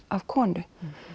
konu